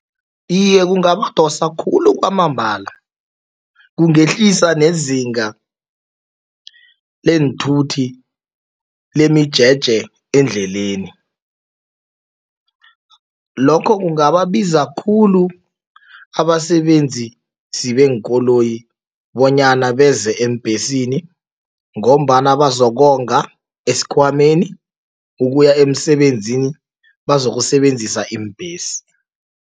Iye, kungabadosa khulu kwamambala. kungehlisa nezinga leenthuthi lemijeje endleleni. Lokho kungababiza khulu abasebenzisi beenkoloyi bonyana beze eembhesini ngombana bazokonga esikhwameni, ukuya emsebenzini bazokusebenzisa iimbhesi.